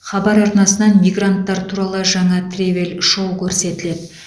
хабар арнасынан мигранттар туралы жаңа тревель шоу көрсетіледі